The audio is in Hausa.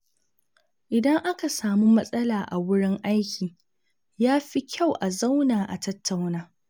Idan aka samu matsala a wurin aiki, ya fi kyau a zauna a tattauna.